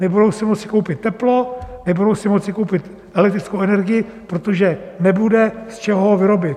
Nebudou si moci koupit teplo, nebudou si moci koupit elektrickou energii, protože nebude z čeho ji vyrobit.